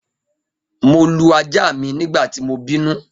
Mo lu aja mi nigbati mo binu